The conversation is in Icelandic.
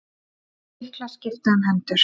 Lyklar skipta um hendur